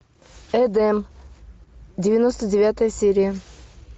эдем девяносто девятая серия